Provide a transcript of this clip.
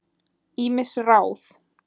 Ýmis ráð